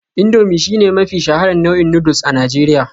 Indomie shine mafi shaharar nau'in noodles a Najeriya